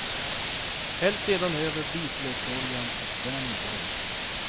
Häll sedan över vitlöksoljan och vänd väl.